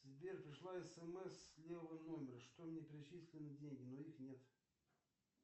сбер пришла смс с левого номера что мне перечислены деньги но их нет